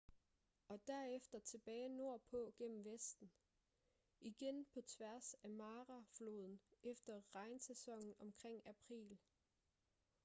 og derefter tilbage nordpå gennem vesten igen på tværs af mara-floden efter regnsæsonen omkring april